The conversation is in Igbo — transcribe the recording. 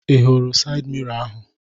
Ị hụrụ sayịd miro ahụ?